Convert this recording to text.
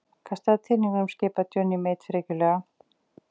Kastaðu teningunum skipaði Johnny Mate frekjulega.